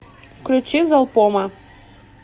включи залпома